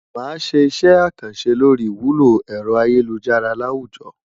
Màá ṣe iṣẹ́ àkànṣe lórí ìwúlò ẹ̀rọ ayélujára láwùjọ.